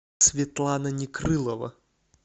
светлана некрылова